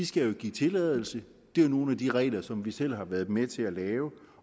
skal jo give tilladelse det er nogle af de regler som vi selv har været med til at lave